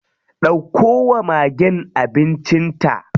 Ɗauko wa magen abincin ta.